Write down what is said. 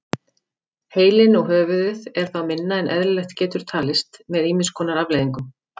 Heilinn og höfuðið er þá minna en eðlilegt getur talist með ýmis konar afleiðingum.